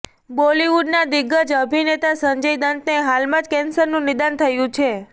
બોલિવુડના દિગ્ગજ અભિનેતા સંજય દત્તને હાલમાં જ કેન્સરનું નિદાન થયું છે